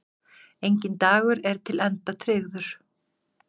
Enginn dagur er til enda tryggður.